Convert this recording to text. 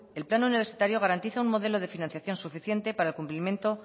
el plan universitario garantiza un modelo de financiación suficiente para el cumplimiento